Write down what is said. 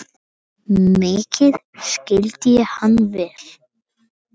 Mikið skildi ég hann vel.